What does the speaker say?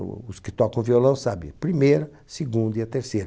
Os que tocam violão sabe, primeira, segunda e a terceira.